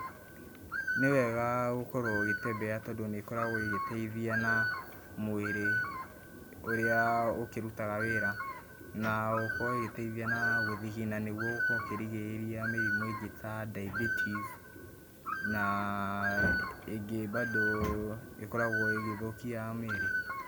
Nĩwega, gũkorũo ũgĩtembea tondũ nĩkoragũo ĩgitĩteithia naa, mwĩrĩ, ũrĩa, ũkĩrutaga wĩra na oho ĩgagĩteithia na gũũthigina nĩguo gũkorũo ũkĩrigĩrĩria mĩrimũ ĩngĩ ta diabetis naa, ĩngĩ, mbado, ĩkoraguo ĩgĩthũkia mĩrĩ.